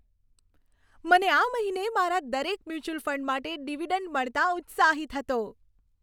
મને આ મહિને મારા દરેક મ્યુચ્યુઅલ ફંડ માટે ડિવિડન્ડ મળતાં ઉત્સાહિત હતો.